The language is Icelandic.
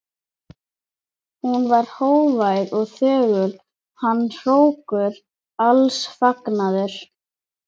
Hún var hógvær og þögul, hann hrókur alls fagnaðar.